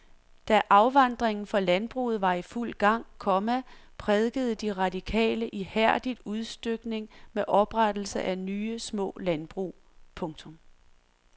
Da afvandringen fra landbruget var i fuld gang, komma prædikede de radikale ihærdigt udstykning med oprettelse af nye små landbrug. punktum